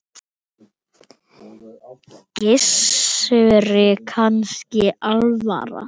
Gissuri kannski alvara.